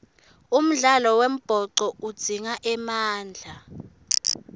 umdlalo wembhoco udzinga emandla